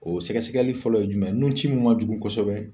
O sɛgɛsɛgɛli fɔlɔ ye jumɛn nun ci min ma jugu kosɛbɛ